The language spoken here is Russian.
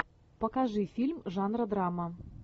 покажи фильм жанра драма